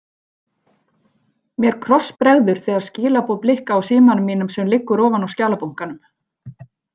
Mér krossbregður þegar skilaboð blikka á símanum mínum sem liggur ofan á skjalabunkanum.